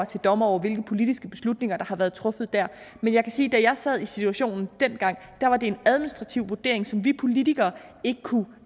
til dommer over hvilke politiske beslutninger der har været truffet men jeg kan sige at da jeg sad i situationen dengang var det en administrativ vurdering som vi politikere ikke kunne